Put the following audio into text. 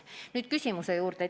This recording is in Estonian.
Nüüd aga sinu küsimuse juurde.